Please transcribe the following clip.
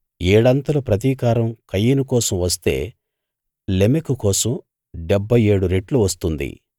ఏడంతలు ప్రతీకారం కయీను కోసం వస్తే లెమెకు కోసం డెబ్భై ఏడు రెట్లు వస్తుంది